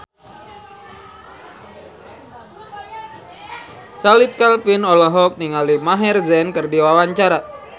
Chand Kelvin olohok ningali Maher Zein keur diwawancara